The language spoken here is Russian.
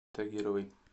тагировой